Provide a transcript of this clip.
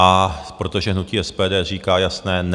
A protože hnutí SPD říká jasné ne!